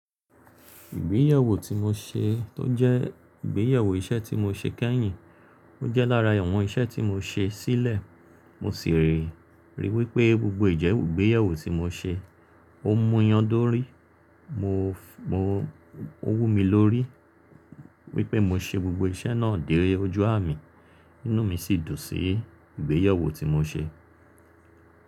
Ìgbéyàwó tí mo ṣe tó jẹ́ ìgbéyàwó iṣẹ́ tí mo ṣe kẹ́yìn, ó jẹ́ lára ẹ̀wọ̀n iṣẹ́ tí mo ṣe sílẹ̀. Mo sì rí i wípé gbogbo ìjẹ́wùru ìgbéyàwó tí mo ṣe, ó múyan dórí. Mo, mo, ó wú mi lórí wípé mo ṣe gbogbo iṣẹ́ náà de ojú à mi. Inú mi sì dùn sí ìgbéyàwó tí mo ṣe.